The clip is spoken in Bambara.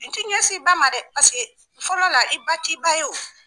I ti ɲɛsin i ba ma dɛ. Paseke fɔlɔ la i ba t'i ba ye wo.